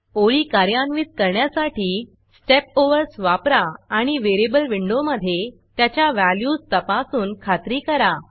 ओळी कार्यान्वित करण्यासाठी Step Oversस्टेप ओवर्स वापरा आणि variableवेरियबल विंडोमधे त्याच्या व्हॅल्यूज तपासून खात्री करा